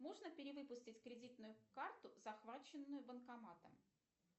можно перевыпустить кредитную карту захваченную банкоматом